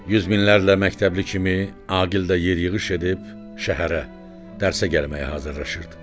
Yüz minlərlə məktəbli kimi Aqil də yer yığış edib şəhərə dərsə gəlməyə hazırlaşırdı.